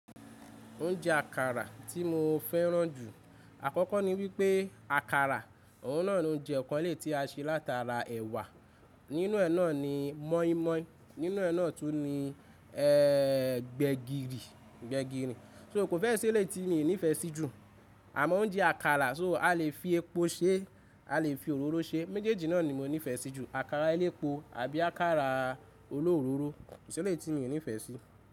Oúnjẹ àkàrà tí mo féràn jù. Àkọ́kọ́ ni wípé àkàrà, òun náà ni oúnjẹ kan eléyìíé tí a ṣe látara ẹ̀wà. Nínú ẹ̀ náà ni mọ́ímọ́í, nínú ẹ̀ náà tún ni ẹ́ gbẹ̀gìrì, gbẹ̀gìrìn. So kò fẹ́ ṣe eléìí ti mi nífẹ̀ẹ́ sí jù. Àmọ́ oúnjẹ àkàrà, so a lè fi epo ṣe, a lè fi òróró ṣe. Méjèèjì náà ni mo nífẹ̀ẹ́ sí jù. Àkàrà elépo àbí àkàrà olóróró, kò s'eléyìí tí miì nífẹ̀ẹ́ sí.